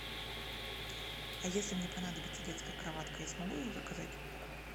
а если мне понадобится детская кроватка я смогу ее заказать